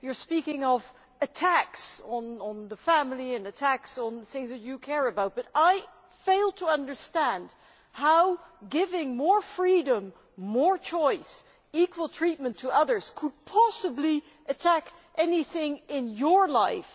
You are speaking about attacks on the family and attacks on the things that you care about, but I fail to understand how giving more freedom, more choice, equal treatment to others, could possibly attack anything in your life.